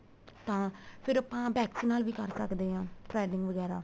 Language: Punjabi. ਤਾਂ ਫ਼ੇਰ ਆਪਾਂ wax ਨਾਲ ਵੀ ਕਰ ਸਕਦੇ ਹਾਂ threading ਵਗੈਰਾ